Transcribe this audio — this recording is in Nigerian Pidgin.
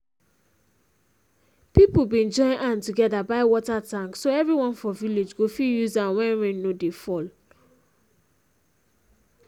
people been join hand together but water tank so everyone for village go fit use am when rain no dey fall